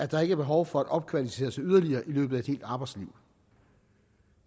der ikke behov for at opkvalificere sig yderligere i løbet af et helt arbejdsliv